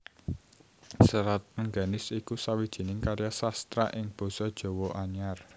Serat Rengganis iku sawijining karya sastra ing basa Jawa Anyar